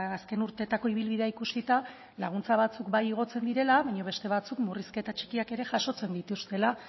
azken urteetako ibilbidea ikusita laguntza batzuk bai igotzen direla baina beste batzuk murrizketa txikiak ere jasotzen dituztela